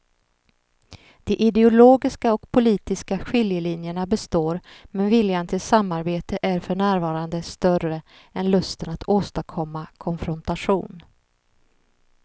De ideologiska och politiska skiljelinjerna består men viljan till samarbete är för närvarande större än lusten att åstadkomma konfrontation.